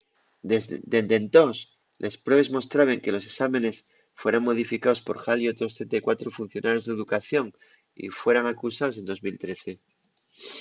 dende entós les pruebes mostraben que los esámenes fueran modificaos por hall y otros 34 funcionarios d'educación y fueran acusaos en 2013